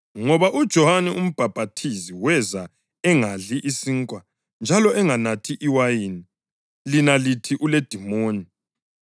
Ngoba uJohane uMbhaphathizi weza engadli isinkwa njalo enganathi iwayini, lina lithi, ‘Uledimoni.’